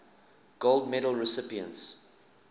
gold medal recipients